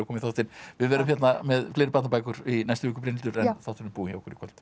við verðum hérna með fleiri barnabækur í næstu viku en þátturinn er búinn hjá okkur í kvöld